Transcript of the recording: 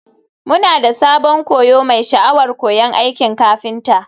Muna da sabon koyo mai sha'awar koyon aikin kafinta.